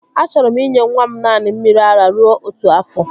Achọrọ m inye nwa m naanị mmiri ara rue otu afọ